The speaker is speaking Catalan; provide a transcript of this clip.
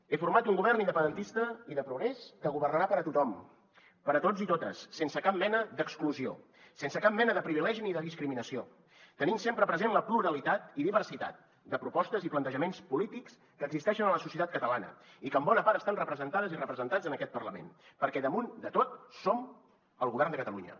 he format un govern independentista i de progrés que governarà per a tothom per a tots i totes sense cap mena d’exclusió sense cap mena de privilegi ni de discriminació tenint sempre present la pluralitat i diversitat de propostes i plantejaments polítics que existeixen en la societat catalana i que en bona part estan representades i representats en aquest parlament perquè damunt de tot som el govern de catalunya